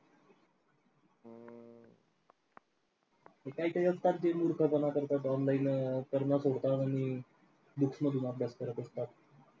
ते कायतरी मूर्खपणा करतात online सोडतात आणि books मधून अभ्यास करत असतात.